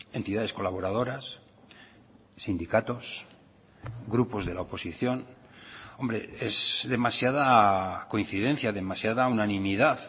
entidades colaboradoras sindicatos grupos de la oposición hombre es demasiada coincidencia demasiada unanimidad